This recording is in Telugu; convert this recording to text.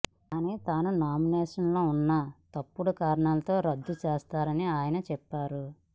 కానీ తన నామినేషన్ను తప్పుడు కారణాలతో రద్దు చేశారని ఆయన చెప్పారు